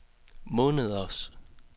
måneders